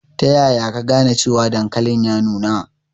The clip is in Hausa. Ta yaya ka gane cewa dankalin ya nuna?